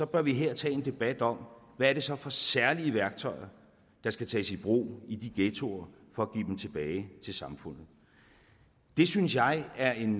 bør vi her tage en debat om hvad det så er for særlige værktøjer der skal tages i brug i de ghettoer for at give dem tilbage til samfundet det synes jeg er en